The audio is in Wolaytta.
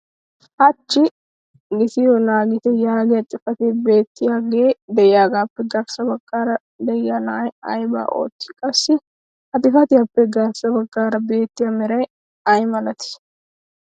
hachchi giittiyo naagitte yaagiyaa xifatee beetiyaagee diyaagaappe garssa bagaara diya na"ay aybaa ootii? qassi ha xifattiyaappe garssa bagaara beettiya meray ay malatii?